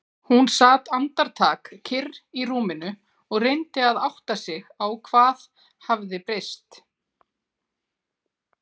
Hún sat andartak kyrr í rúminu og reyndi að átta sig á hvað hafði breyst.